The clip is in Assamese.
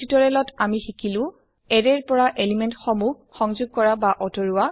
এই নিৰ্দেশনা ত আমি শিকিলো এৰে ৰ পৰা এলিমেন্ট সমুহ সংযোগ কৰা আতৰোৱা